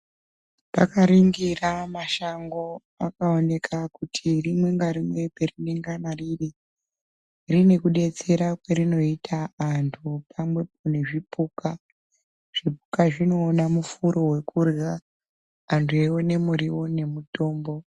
Takaningira mashango pakoneke kuti rimwe narimwe rine kubetsera arinoita andu pamwepo nezvipuka zvipuka zvioone mufura wekudya abdu eyione muriwo nemutombo.